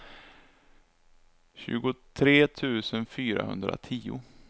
tjugotre tusen fyrahundratio